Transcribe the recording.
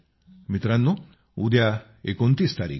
मित्रांनो उद्या 29 तारीख आहे